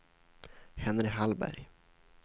Henry Hallberg